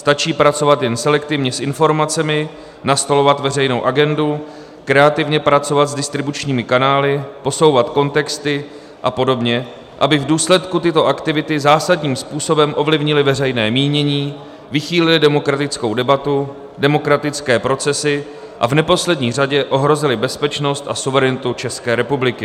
Stačí pracovat jen selektivně s informacemi, nastolovat veřejnou agendu, kreativně pracovat s distribučními kanály, posouvat kontexty a podobně, aby v důsledky tyto aktivity zásadním způsobem ovlivnily veřejné mínění, vychýlily demokratickou debatu, demokratické procesy a v neposlední řadě ohrozily bezpečnost a suverenitu České republiky.